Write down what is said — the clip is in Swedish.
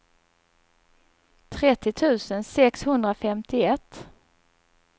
trettio tusen sexhundrafemtioett